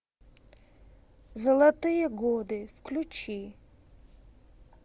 золотые годы включи